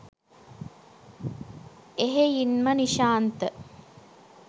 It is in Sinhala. එහෙයින්ම නිශාන්ත